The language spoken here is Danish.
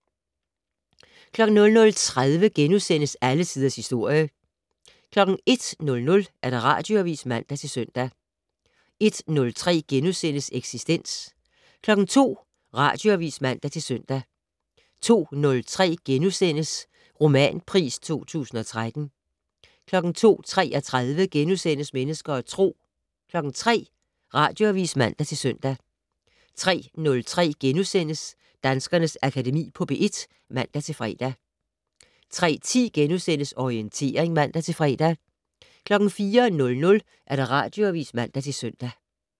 00:30: Alle Tiders Historie * 01:00: Radioavis (man-søn) 01:03: Eksistens * 02:00: Radioavis (man-søn) 02:03: Romanpris 2013 * 02:33: Mennesker og Tro * 03:00: Radioavis (man-søn) 03:03: Danskernes Akademi på P1 *(man-fre) 03:10: Orientering *(man-fre) 04:00: Radioavis (man-søn)